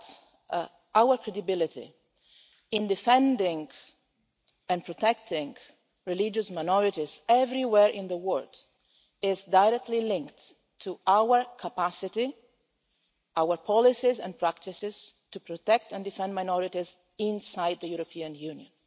It is that our credibility in defending and protecting religious minorities everywhere in the world is directly linked to our capacity, our policies and practices, to protect and defend minorities inside the European Union